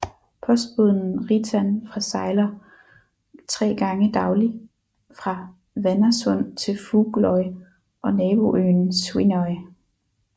Postbåden Ritan fra sejler tre gange daglig fra Hvannasund til Fugloy og naboøen Svínoy